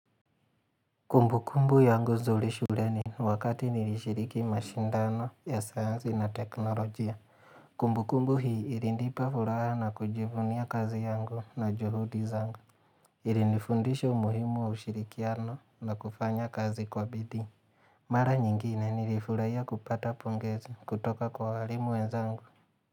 Kumbu kumbu yangu zuri shuleni wakati nilishiriki mashindano ya sayansi na teknolojia. Kumbu kumbu hii ilinipa furaha na kujivunia kazi yangu na juhudi zangu. Ilinifundisha umuhimu wa ushirikiano na kufanya kazi kwa bidii. Mara nyingine nilifurahia kupata pongezi kutoka kwa hwalimu wenzangu.